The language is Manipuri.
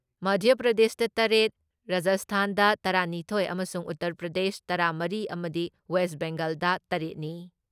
ꯃꯙ꯭ꯌ ꯄ꯭ꯔꯗꯦꯁꯇ ꯇꯔꯦꯠ, ꯔꯥꯖꯁꯊꯥꯟꯗ ꯇꯔꯥ ꯅꯤꯊꯣꯏ ꯑꯃꯁꯨꯡ ꯎꯇꯔ ꯄ꯭ꯔꯗꯦꯁ ꯇꯔꯥ ꯃꯔꯤ ꯑꯃꯗꯤ ꯋꯦꯁ ꯕꯦꯡꯒꯥꯜꯗ ꯇꯔꯦꯠ ꯅꯤ ꯫